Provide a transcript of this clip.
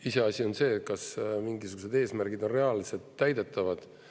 Iseasi on see, kas mingisugused eesmärgid on reaalselt täidetavad.